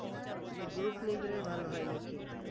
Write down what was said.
group নিয়ে গেলে ভালো হয় নাকি